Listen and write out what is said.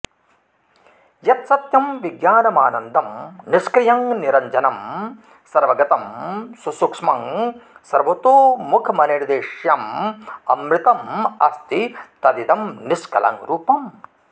यत्सत्यं विज्ञानमानन्दं निष्क्रियं निरञ्जनं सर्वगतं सुसूक्ष्मं सर्वतोमुखमनिर्देश्यममृतमस्ति तदिदं निष्कलं रूपम्